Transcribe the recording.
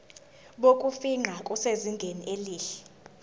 bokufingqa busezingeni elihle